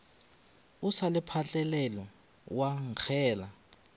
o se phatlalale wa nkgela